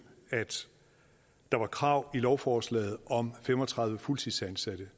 at der var krav i lovforslaget om fem og tredive fuldtidsansatte